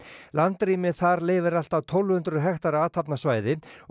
landrými þar leyfir allt að tólf hundruð hektara athafnasvæði og